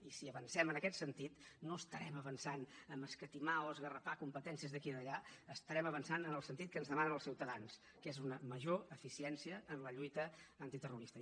i si avancem en aquest sentit no estarem avançant a escatimar o esgarrapar competències d’aquí o d’allà estarem avançant en el sentit que ens demanen els ciutadans que és una major eficiència en la lluita antiterrorista